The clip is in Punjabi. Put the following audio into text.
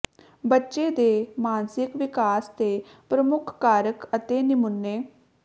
ਬੱਚੇ ਦੇ ਮਾਨਸਿਕ ਵਿਕਾਸ ਦੇ ਪ੍ਰਮੁੱਖ ਕਾਰਕ ਅਤੇ ਨਮੂਨੇ